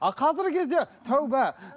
а қазіргі кезде тәубә